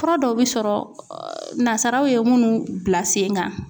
Fura dɔw bɛ sɔrɔ nazaraw ye minnu bila sen kan.